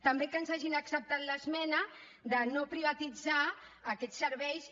també que ens hagin acceptat l’esmena de no privatitzar aquests serveis i